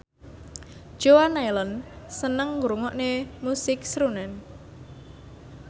Joan Allen seneng ngrungokne musik srunen